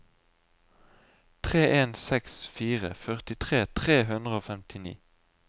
tre en seks fire førtitre tre hundre og femtini